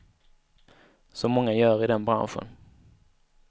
Som många gör i den branschen.